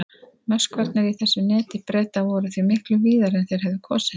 Möskvarnir í þessu neti Breta voru því miklu víðari en þeir hefðu kosið.